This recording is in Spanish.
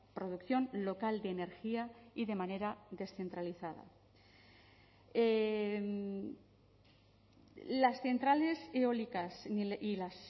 producción local de energía y de manera descentralizada las centrales eólicas y las